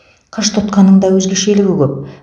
қыш тұтқаның да өзгешелігі көп